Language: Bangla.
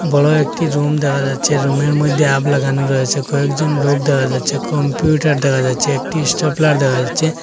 বড় একটি রুম দেখা যাচ্ছে রুমের মধ্যে হাব লাগানো রয়েছে কয়েকজন লোক দেখা যাচ্ছে কম্পিউটার দেখা যাচ্ছে একটি স্টেপলার দেখা যাচ্ছে।